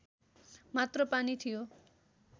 मात्र पानी थियो